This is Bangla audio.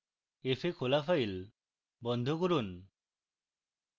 f এ খোলা file বন্ধ করুন